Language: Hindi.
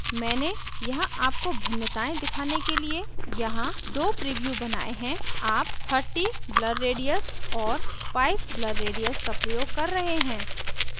मैंने यहाँ आपको भिन्नताएं दिखाने के लिए यहाँ 2 previews बनाये हैं आप 30 blur radius और 5 blur radius का प्रयोग कर रहे हैं